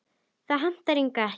Það hentaði Inga ekki.